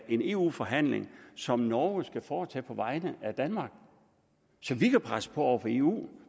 en eu forhandling som norge skal foretage på vegne af danmark så vi kan presse på over for eu